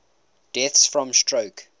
deaths from stroke